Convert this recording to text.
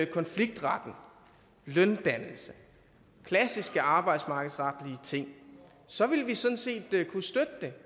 konfliktretten løndannelse klassiske arbejdsmarkedsretlige ting så ville vi sådan set det